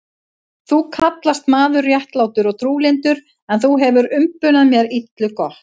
Þú kallast maður réttlátur og trúlyndur, en þú hefir umbunað mér illu gott.